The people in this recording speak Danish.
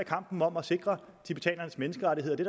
kampen om at sikre tibetanernes menneskerettigheder det